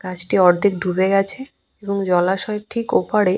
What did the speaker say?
গাছটি অর্ধেক ডুবে গেছে এবং জলাশয়ের ঠিক ওপাড়ে।